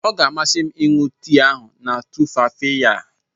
Ọ ga-amasị m ịṅụ tii ahụ na tumfafiya.